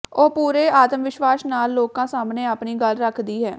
ਉਹ ਪੂਰੇ ਆਤਮਵਿਸ਼ਵਾਸ ਨਾਲ ਲੋਕਾਂ ਸਾਹਮਣੇ ਆਪਣੀ ਗੱਲ ਰੱਖਦੀ ਹੈ